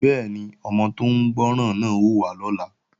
Bẹ́ẹ̀ni, ọmọ tó ń gbọ́ràn náà ó wá lọ́la